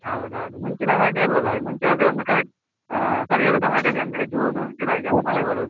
ಹೌದೌದು ಮುಂಚಿನ ಹಾಗೆ ಅಲ್ಲಲ್ಲಾ, ಮುಂಚೆ ಆದ್ರೆ ಒಂದು correct ಆ ಸರಿಯಾದ ಸಮಯದಲ್ಲಿ ಅಂದ್ರೆ June, July ಗೆ ಒಂದು ಮಳೆ ಬರುದು.